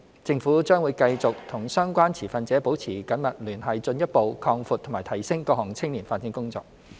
政府將會繼續與相關持份者保持緊密聯繫，進一步擴闊及提升各項青年發展工作。